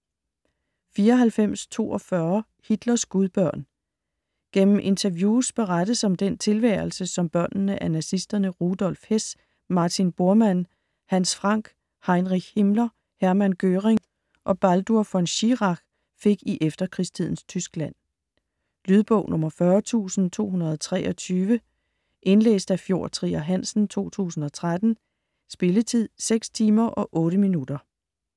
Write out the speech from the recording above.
94.42 Hitlers gudbørn Gennem interviews berettes om den tilværelse, som børnene af nazisterne Rudolf Hess, Martin Bormann, Hans Frank, Heinrich Himmler, Hermann Göring og Baldur von Schirach fik i efterkrigstidens Tyskland. Lydbog 40223 Indlæst af Fjord Trier Hansen, 2013. Spilletid: 6 timer, 8 minutter.